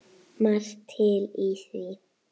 Margt til í því.